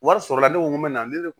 Wari sɔrɔla ne ko n ko mɛ na ne ko